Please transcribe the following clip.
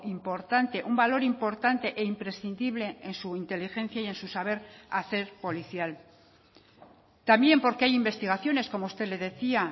importante un valor importante e imprescindible en su inteligencia y en su saber hacer policial también porque hay investigaciones como usted le decía